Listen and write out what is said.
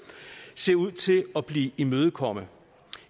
ser ud til at blive imødekommet